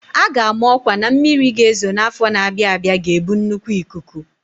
A ga-ama ọkwa na mmiri ga-ezo n'afọ na-abịa abịa ga-ebu nnukwu ikuku.